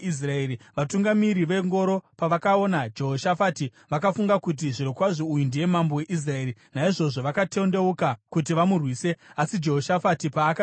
Vatungamiri vengoro pavakaona Jehoshafati, vakafunga kuti, “Zvirokwazvo uyu ndiye mambo weIsraeri.” Naizvozvo vakatendeuka kuti vamurwise, asi Jehoshafati paakaridza mhere,